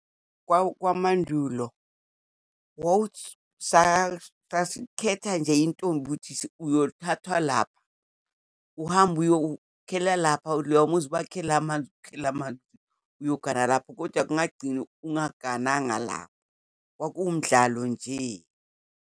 Kwamandulo sasikhetha nje intombi ukuthi uyothathwa lapha. Uhambe uyokhela lapha, loyamuzi ubakhele amanzi, ukhele amanzi. Uyogana lapho kodwa ungagcina ungaganwanga lapho. Kwakuwumdlalo nje.